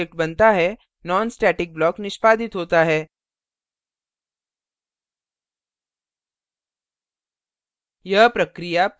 फिर जब दूसरा object बनता है nonstatic block निष्पादित होता है